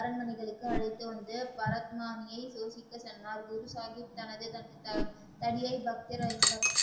அரண்மனைக்கு அழைத்து வந்து பரத் மாமியை யோசிக்க சொன்னார் குருசாகிப் தனது தடிய